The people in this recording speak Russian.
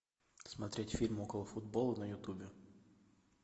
смотреть фильм околофутбола на ютубе